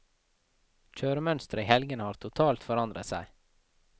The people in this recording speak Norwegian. Kjøremønsteret i helgene har totalt forandret seg.